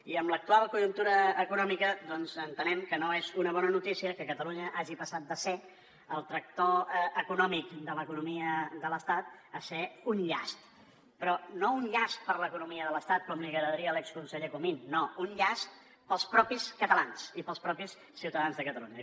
i amb l’actual conjuntura econòmica doncs entenem que no és una bona notícia que catalunya hagi passat de ser el tractor econòmic de l’economia de l’estat a ser un llast però no un llast per a l’economia de l’estat com li agradaria a l’exconseller comín no un llast per als mateixos catalans i per als mateixos ciutadans de catalunya